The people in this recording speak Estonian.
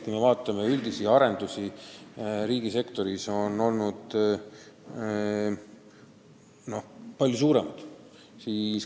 Kui me vaatame üldiseid arenduskulusid riigisektoris, siis on need summad palju suuremad olnud.